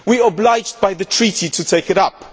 We are obliged by the Treaty to take it